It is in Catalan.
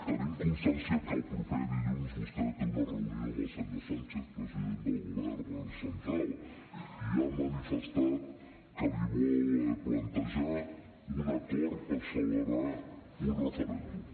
tenim constància que el proper dilluns vostè té una reunió amb el senyor sánchez president del govern central i ja ha manifestat que li vol plantejar un acord per celebrar un referèndum